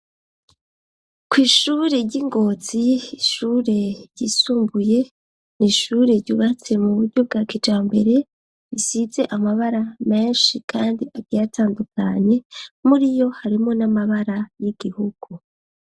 Kw'ishure ry'ingozi ishure ryisumbuye n ishure ryubatse mu buryo bwa kijaro mbere risize amabara menshi kandi agiye atandukanye muriyo harimo n'amabara y'igihugu.